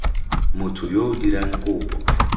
motho yo o dirang kopo